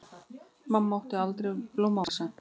Mamma átti aldrei blómavasa.